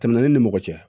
Tɛmɛna ne ni mɔgɔ cɛ